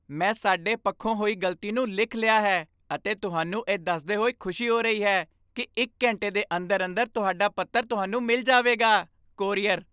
ਮੈਂ ਸਾਡੇ ਪੱਖੋਂ ਹੋਈ ਗ਼ਲਤੀ ਨੂੰ ਲਿਖ ਲਿਆ ਹੈ ਅਤੇ ਤੁਹਾਨੂੰ ਇਹ ਦੱਸਦੇ ਹੋਏ ਖੁਸ਼ੀ ਹੋ ਰਹੀ ਹੈ ਕਿ ਇੱਕ ਘੰਟੇ ਦੇ ਅੰਦਰ ਅੰਦਰ ਤੁਹਾਡਾ ਪੱਤਰ ਤੁਹਾਨੂੰ ਮਿਲ ਜਾਵੇਗਾ ਕੋਰੀਅਰ